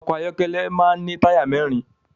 Ọkọ ayọkẹlẹ máa ní táyà mẹ́rin